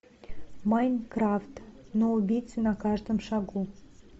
майнкрафт но убийцы на каждом шагу